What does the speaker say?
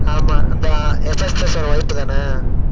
ஆமா அந்த wife தானா